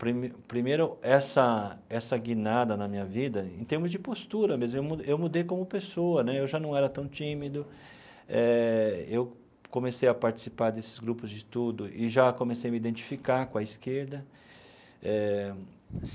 Prime primeiro, essa essa guinada na minha vida, em termos de postura mesmo, eu mu eu mudei como pessoa né, eu já não era tão tímido, eh eu comecei a participar desses grupos de estudos e já comecei a me identificar com a esquerda eh.